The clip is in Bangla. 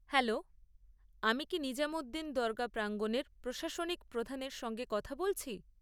হ্যালো, আমি কি নিজামুদ্দিন দরগা প্রাঙ্গণের প্রশাসনিক প্রধানের সঙ্গে কথা বলছি?